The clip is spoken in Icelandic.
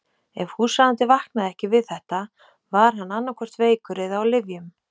Ef húsráðandi vaknaði ekki við þetta var hann annaðhvort veikur eða á lyfjum.